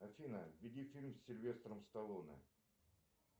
афина введи фильм с сильвестром сталлоне